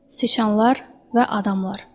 Siçanlar və adamlar.